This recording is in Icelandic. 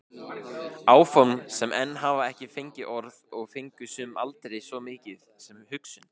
Áform sem enn hafa ekki fengið orð og fengu sum aldrei svo mikið sem hugsun.